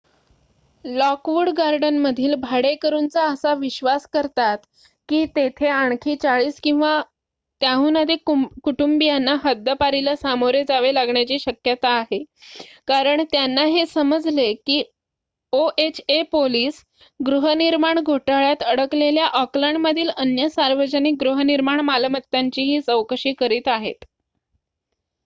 Lockwood गार्डनमधील भाडेकरूंचा असा विश्वास करतात की तेथे आणखी 40 किंवा त्याहून अधिक कुटुंबीयांना हद्दपारीला सामोरे जावे लागण्याची शक्यता आहे कारण त्यांना हे समजले की oha पोलिस गृहनिर्माण घोटाळ्यात अडकलेल्या ओकलँडमधील अन्य सार्वजनिक गृहनिर्माण मालमत्तांचीही चौकशी करीत आहेत